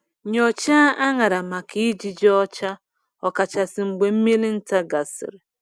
Nyochaa añara maka ijiji ọcha, ọkachasị mgbe mmiri nta gasịrị.